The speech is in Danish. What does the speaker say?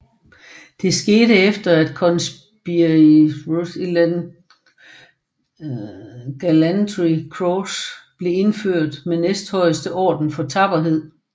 Det skete efter at Conspicuous Gallantry Cross blev indført som næsthøjeste orden for tapperhed